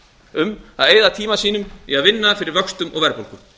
um að eyða tíma sínum í að vinna fyrir vöxtum og verðbólgu